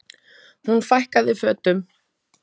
Hún fækkaði fötum.